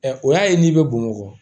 Ɛ o y'a ye n'i bɛ bamakɔ